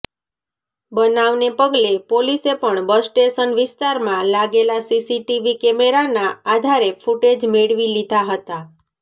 બનાવને પગલે પોલીસે પણ બસ સ્ટેશન વિસ્તારમાં લાગેલા સીસીટીવી કેમેરાના આધારે ફૂટેજ મેળવી લીધા હતા